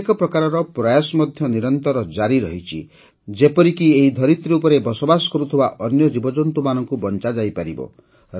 ଅନେକ ପ୍ରକାରର ପ୍ରୟାସ ମଧ୍ୟ ନିରନ୍ତର ଜାରି ରହିଛି ଯେପରିକି ଏହି ଧରିତ୍ରୀ ଉପରେ ବସବାସ କରୁଥିବା ଅନ୍ୟ ଜୀବଜନ୍ତୁମାନଙ୍କୁ ବଞ୍ଚାଯାଇପାରିବ